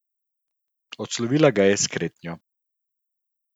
Odslovila ga je s kretnjo.